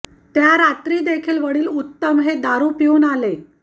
त्या रात्री देखील वडील उत्तम हे दारू पिऊन आले